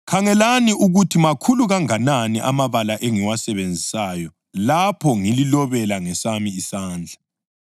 Khangelani ukuthi makhulu kanganani amabala engiwasebenzisayo lapho ngililobela ngesami isandla!